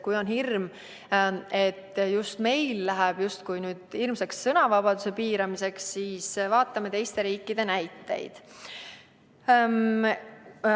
Kui on hirm, et meil läheb justkui ilmseks sõnavabaduse piiramiseks, siis vaatame teiste riikide näiteid.